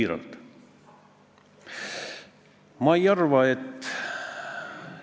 Eelnõu algatajate eestkõnelejana leian ma, et me peaksime härra Ilmar Tomuskile ulatama selle teiba, et ta ületaks viie meetri kõrgusele asetatud lati.